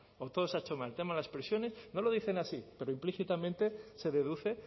o todo ese ha hecho mal en el tema de las prisiones no lo dicen así pero implícitamente se deduce